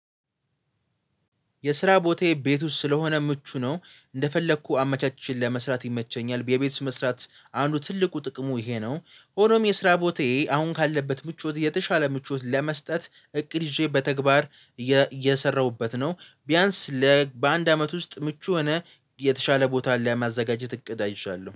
የስራ ቦታዬ ቤት ውስጥ ስለሆነ ምቹ ነው እንደፈለግሁ አመቻቼ ለመስራት ይመቸኛል። የቤት ውስጥ መስራት አንዱ ትልቁ ጥቅሙ ይሄ ነው። ሆኖም የስራ ቦታዬ አሁን ካለበት ምቾት የተሻለ ምቾት ለመስጠት እቅድ ይዤ በተግባር እየሰራሁበት ነው። ቢያንስ ለ በአንድ አመት ውስጥ ምቹ ሆነ የስራ ቦታዬ ቤት ውስጥ ስለሆነ ምቹ ነው እንደፈለግሁ አመቻቼ ለመስራት ይመቸኛል። የቤት ውስጥ መስራት አንዱ ትልቁ ጥቅሙ ይሄ ነው። ሆኖም የስራ ቦታዬ አሁን ካለበት ምቾት የተሻለ ምቾት ለመስጠት እቅድ ይዤ በተግባር እየሰራሁበት ነው። ቢያንስ ለ በአንድ አመት ውስጥ ምቹ የሆነ